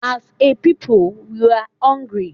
As a pupils we are hungry